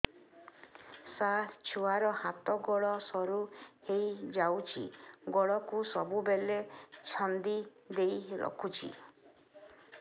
ସାର ଛୁଆର ହାତ ଗୋଡ ସରୁ ହେଇ ଯାଉଛି ଗୋଡ କୁ ସବୁବେଳେ ଛନ୍ଦିଦେଇ ରଖୁଛି